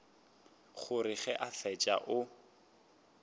gore ge a fetša o